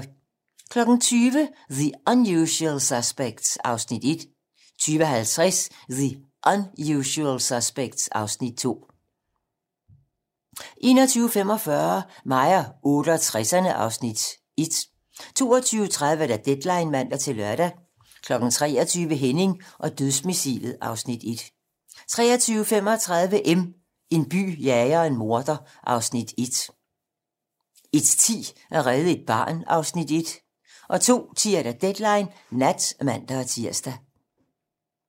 20:00: The Unusual Suspects (Afs. 1) 20:50: The Unusual Suspects (Afs. 2) 21:45: Mig og 68'erne (Afs. 1) 22:30: Deadline (man-lør) 23:00: Henning og dødsmissilet (Afs. 1) 23:35: M - En by jager en morder (Afs. 1) 01:10: At redde et barn (Afs. 1) 02:10: Deadline nat (man-tir)